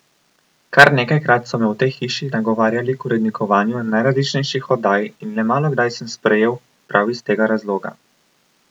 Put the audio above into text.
Kar nekajkrat so me v tej hiši nagovarjali k urednikovanju najrazličnejših oddaj in le malokdaj sem sprejel, prav iz tega razloga.